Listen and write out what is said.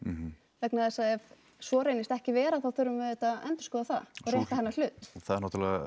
vegna þess að ef svo reynist ekki vera þá þurfum við auðvitað að endurskoða það rétta hennar hlut það